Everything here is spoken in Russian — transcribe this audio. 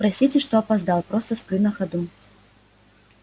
простите что опоздал просто сплю на ходу